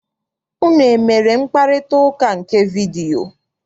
Unu emere mkparịtaụka nke vidiyio?